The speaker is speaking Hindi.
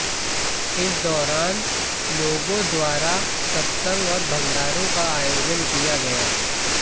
इस दौरान लोगों द्वारा सत्संग और भंडारों का आयोजन किया गया